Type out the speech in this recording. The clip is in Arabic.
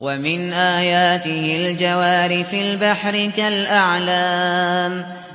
وَمِنْ آيَاتِهِ الْجَوَارِ فِي الْبَحْرِ كَالْأَعْلَامِ